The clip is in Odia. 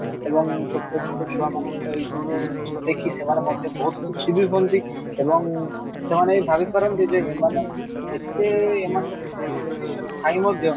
ଏବଂ ଛୋଟ ଛୋଟ ଛୁଆ ମାନଙ୍କର ଏଇ ସବୁ ଜିନିଷ ଦେଖି ସେମାନେ ମଧ୍ୟ ବହୁତ ଖୁସି ବି ହୁଅନ୍ତି ଏବଂ ସେମାନେ ଭାବି ପାରନ୍ତି ଯେ ଏତେ ଏମାନଙ୍କ ଭିତରେ limitation ଥାଇ ମଧ୍ୟ